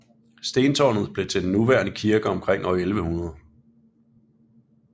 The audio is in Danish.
Stentårnet blev til den nuværende kirke omkring år 1100